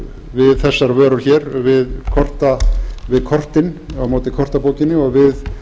við þessar vörur hér við kortin á móti kortabókinni og við